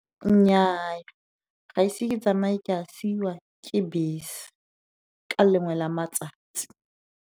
Nnyaa, ga ise ke tsamaye ke a siwa ke bese ka lengwe la matsatsi.